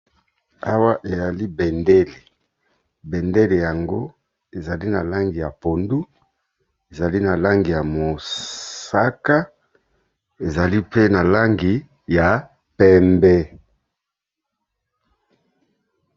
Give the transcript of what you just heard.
Awa ezali bendele, bendele yango ezali na langi ya pondu, ezali na langi ya mosaka, ezali pe na langi ya pembe.